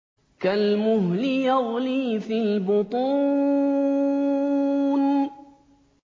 كَالْمُهْلِ يَغْلِي فِي الْبُطُونِ